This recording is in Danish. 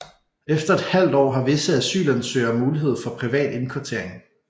Efter et halvt år har visse asylansøgere mulighed for privat indkvartering